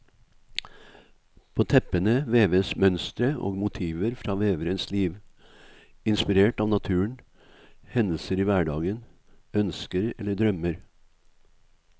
På teppene veves mønstre og motiver fra veverens liv, inspirert av naturen, hendelser i hverdagen, ønsker eller drømmer.